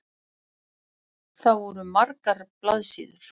Það voru margar blaðsíður.